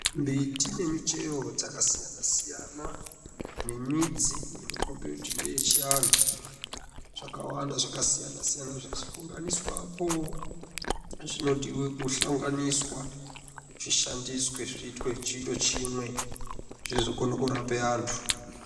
Mbiti nemichero dzakasiyana siyana, nemidzi inokombe kuti ndeyechianhu, zvakawanda zvakasiyana siyana zvahlanganiswapo, zvinodiwe kuhlanganiswa zviitwe chiro chimwe zvizokone kurape antu.